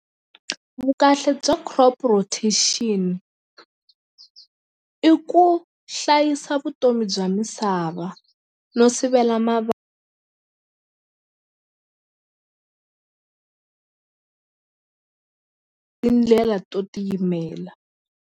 Vukahle bya crop rotation i ku hlayisa vutomi bya misava no sivela tindlela to tiyimela.